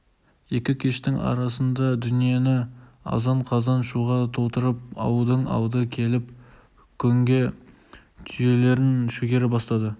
екі кештің арасында дүниені азан-қазан шуға толтырып ауылдың алды келіп көңге түйелерін шөгере бастады